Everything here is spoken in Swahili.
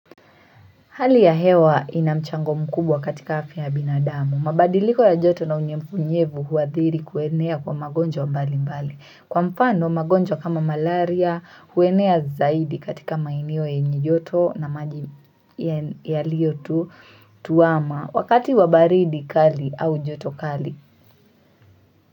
Hali ya hewa ina mchango mkubwa katika afya ya binadamu. Mabadiliko ya joto na unyevunyevu huathiri kuenea kwa magonjwa mbali mbali. Kwa mfano magonjwa kama malaria huenea zaidi katika maeneo yenye njoto na maji yaliyo tulivu tu ama wakati wa baridi kali au joto kali.